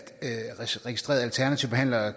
registrerede alternative behandlere